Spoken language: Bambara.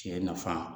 Tiɲɛ nafa